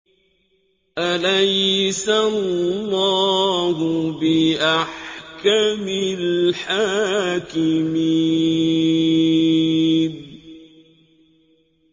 أَلَيْسَ اللَّهُ بِأَحْكَمِ الْحَاكِمِينَ